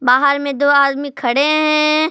बाहर में दो आदमी खड़े हैं।